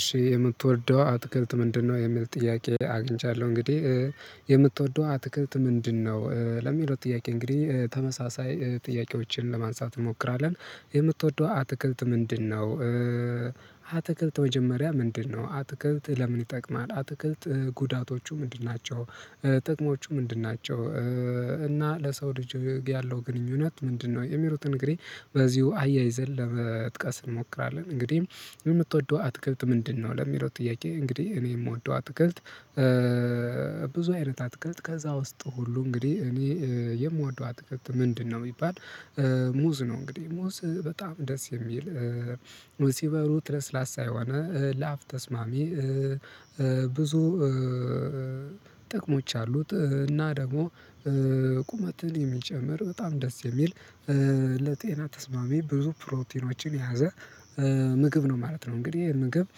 እሺ የምትወደው አትክልት ምንድነው የሚል ጥያቄ አግኝቻለሁ እንግዲህ የምትወደው አትክልት ምንድነው ለሚለው ጥያቄ እንግዲህ ተመሳሳይ ጥያቄዎችን ለማንሳት እንሞክራለን የምትወደው አትክልት ምንድነው? አትክልት መጀመሪያ ምንድነው አትክልት ለምን ይጠቅማል አትክልት? ጉዳቶቹ ምንድን ናቸው? ጥቅሞቹ ምንድን ናቸው? እና ለሰው ልጅ ያለው ግንኙነት ምንድነው? የሚሉትን እንግዲህ በዚሁ አያይዘን ለመጥቀስ እንሞክራለን። እንግዲህ የምትወደው አትገልጥ ምንድነው ለሚለው ጥያቄ እንግዲህ እኔ የምወደው አትክልት። ብዙ አይነት አትክልት ከዛ ውስጥ ሁሉ እንግዲህ እኔ የምወደው አትክልት ምንድነው የሚባል ሙዝ ነው። እንግዲህ ሙዝ በጣም ደስ የሚል ሙዝ ሲበሉት ላስላሳ የሆነ ለኣፍ ተስማሚ። ብዙ አሉት እና ደግሞ ቁመትን የሚጨምር በጣም ደስ የሚል። ለጤና ተስማሚ ብዙ ፕሮቲኖችን የያዘ ምግብ ነው ማለት ነው። እንግዲህ ምግብ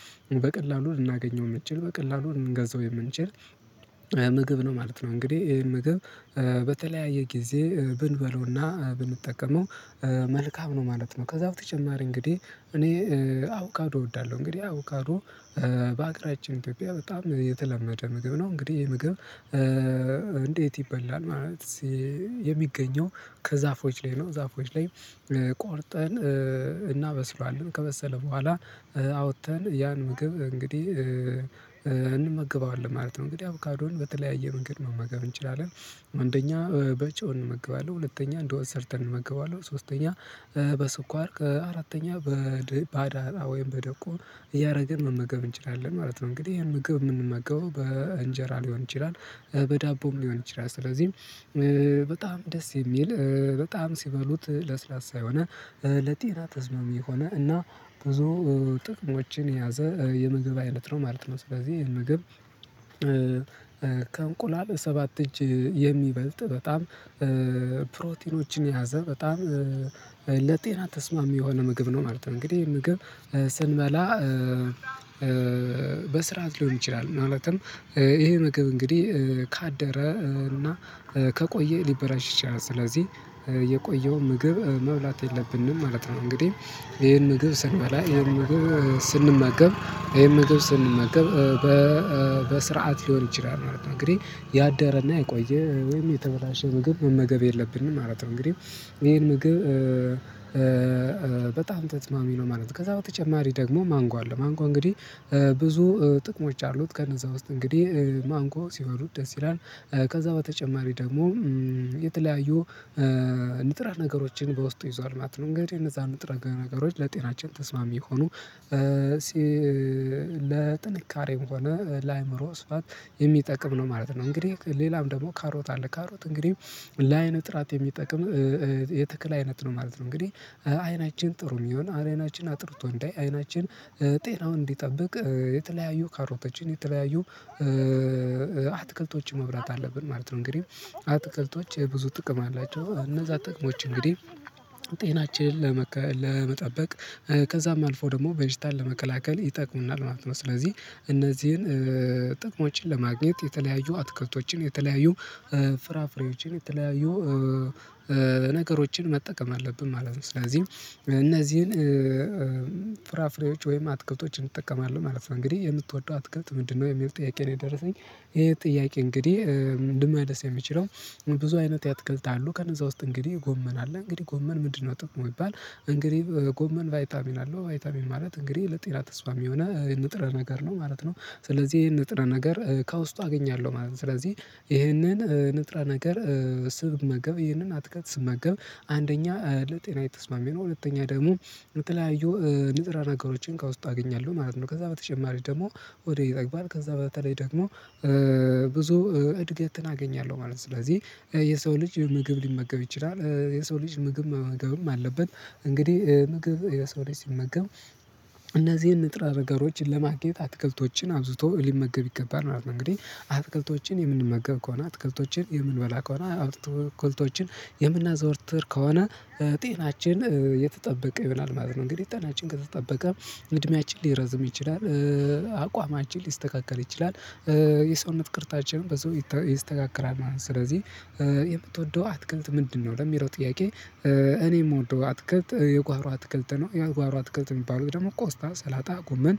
በቀላሉ ልናገኘው የምንችል በቀላሉ ልንገዛው የምንችል ምግብ ነው ማለት ነው። እንግዲህ ይሄን ምግብ በተለያየ ጊዜ ብንበለውና ብንጠቀመው መልካም ነው ማለት ነው። ከዛው በተጨማሪ እንግዲህ እኔ አቩካዶ እወዳለሁ። እንግዲህ አቩካዶ በአገራችን ኢትዮጵያ በጣም የተለመደ ምግብ ነው። እንግዲህ እሄ ምግብ እንዴት ይበላል? ማለት የሚገኘው ከዛፎች ላይ ነው ዛፎች ላይ ቆርጠን እናበስሏለን ከበሰለ በኋላ አውጥተን ያን ምግብ እንግዲህ እንመግበዋለን ማለት ነው። እንግዲህ አቩካዶን በተለያየ መንገድ መመገብ እንችላለን። አንደኛ በጨው እንመገባለን ሁለተኛ እንደ ወጥ ሰርተን እንመገባለን ሶስተኛ በስኳር ከአራተኛ በደብዳራ ወይም በደብቆ እያደረገ መመገብ እንችላለን ማለት ነው። እንግዲህ ይሄን መገብ የምንመገበው በእንጀራ ሊሆን ይችላል። በዳቦም ሊሆን ይችላል። ስለዚህ በጣም ደስ የሚል በጣም ሲበሉት ለስላሳ የሆነ ለጤና ተስማሚ የሆነ እና ብዙ ጥቅሞችን የያዘ የምግብ አይነት ነው ማለት ነው። ስለዚህ ይሄን ምግብ ከእንቁላል ሰባት እጅ የሚበልጥ በጣም ፕሮቲኖችን የያዘ በጣም ለጤና ተስማሚ የሆነ ምግብ ነው ማለት ነው። እንግዲህ ምግብ ስንበላ በስርዓት ሊሆን ይችላል። ማለትም ይሄ ምግብ እንግዲህ ካደረ እና ከቆየ ሊበላሽ ይችላል። ስለዚህ የቆየው ምግብ መብላት የለብንም ማለት ነው። እንግዲህ ይሄን ምግብ ስንበላ ይሄን ምግብ ስንመገብ ይሄን ስንመገብ በስርዓት ሊሆን ይችላል ማለት ነው። እንግዲህ ያደረና የቆየ ወይም የተበላሸ ምግብ መመገብ የለብንም ማለት ነው። እንግዲህ ይሄን ምግብ ተስማሚ ነው ማለት ነው። ከዛ በተጨማሪ ደግሞ ማንጓ አለው ማንጓ እንግዲህ ብዙ ጥቅሞች አሉት። ከነዛ ውስጥ እንግዲህ ማንጎ ሲባሉት ደስ ይላል። ከዛ በተጨማሪ ደግሞ የተለያዩ ንጥረ ነገሮችን በውስጡ ይዟል ማለት ነው። እንግዲህ እነዛ ንጥረ ነገሮች ለጤናችን ተስማሚ ሆኖ ለጥንካሬም ሆነ ለአእምሮ ስፋት የሚጠቅም ነው ማለት ነው። እንግዲህ ሌላም ደግሞ ካሮት አለ ካሮት እንግዲህ ለአይን ጥራት የሚጠቅም የትክል አይነት ነው ማለት ነው። እንግዲህ አይናችን ጥሩ እንዲሆን አይናችን አጥርቶ እንዳይ አይናችን ጤናውን እንዲጠብቅ የተለያዩ ካሮቶችን የተለያዩ አትክልቶች መብላት አለብን ማለት ነው። እንግዲህ አትክልቶች ብዙ ጥቅም አላቸው እነዛ ጥቅሞች እንግዲህ ጤናችንን ለመጠበቅ ከዛም አልፎ ደግሞ በሽታን ለመከላከል ይጠቅሙናል ማለት ነው። ስለዚህ እነዚህን ጥቅሞችን ለማግኘት የተለያዩ አትክልቶችን የተለያዩ ፍራፍሬዎችን የተለያዩ ነገሮችን መጠቀም አለብን ማለት ነው። ስለዚህም እነዚህን ፍራፍሬዎች ወይም አትክልቶችን እጠቀማለሁ ማለት ነው። እንግዲህ የምትወደው አትገብት ምንድነው የሚለው ጥያቄ ነው። የደረሰኝ ይሄ ጥያቄ እንግዲህ ምንድነው? ደስ የሚለው ብዙ አይነት ያትክልታሉ ከነዛ ውስጥ እንግዲህ ጎመን አለ እንግዲህ ጎመን ምንድነው ጥቅሙ ብባል? እንግዲህ ጎመን ቫይታሚን አለው ቫይታሚን ማለት እንግዲህ ለጤና ተስማሚ የሆነው ንጥረ ነገር ነው ማለት ነው። ስለዚህ ይሄን ንጥረ ነገር ከውስጡ አገኛለሁ ማለት ነው። ስለዚህ ይህንን ንጥረ ነገር ስመገብ ይህንን አትክልት ስመገብ አንደኛ ለጤናዬ ተስማሚ ነው። ሁለተኛ ደግሞ የተለያዩ ንጥረ ነገሮችን ከውስጡ አገኛለሁ ማለት ነው። ከዛ በተጨማሪ ደግሞ ሆዴ ይጠግባል። ከዛ በተለይ ደግሞ ብዙ እድገትን አገኛለሁ ማለት ነው። ስለዚህ የሰው ልጅ ምግብ ሊመገብ ይችላል። የሰው ልጅ ምግብ መመገብም አለበት። እንግዲህ ምግብ የሰው ልጅ ሲመገብ እነዚህን ንጥረ ረገሮችን ለማግኘት አትክልቶችን አብዝቶ ሊመገብ ይገባል ነበር። እንግዲህ አትክልቶችን የምንመገብ ከሆነ አትክልቶችን የምንበላ ከሆነ እትክልቶችን የምናዘወርትር ከሆነ ጤናችን የተጠበቀ ይሆናል ማለት ነው። እንግዲህ ጤናችን ከተጠበቀ እድሜያችን ሊረዝም ይችላል። አቋማችን ሊስተካከል ይችላል። የሰውነት ቅርጻችንም በዛው ይስተካከላል ማለት ነው። ስለዚህ የምትወደው አትክልት ምንድነው? ለሚለው ጥያቄ እኔ የምወደው አትክልት የጓዋሮ አትክልት ነው። የጓዋሮ አትክልት የሚባሉት ደግሞ ቆስጣ ስላጣ ጉመን